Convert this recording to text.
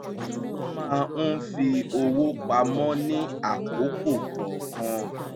ó máa ń fi owó pamọ́ ní àkókò kọọkan